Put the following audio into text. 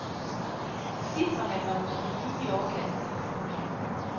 Cifrene var måske lige i overkanten. punktum